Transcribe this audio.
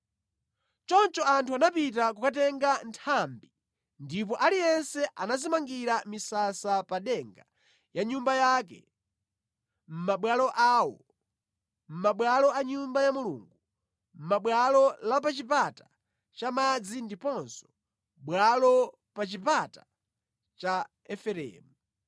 Choncho anthu anapita kukatenga nthambi ndipo aliyense anadzimangira misasa pa denga ya nyumba yake, mʼmabwalo awo, mʼmabwalo a Nyumba ya Mulungu, mʼbwalo la pa Chipata cha Madzi ndiponso mʼbwalo la pa Chipata cha Efereimu.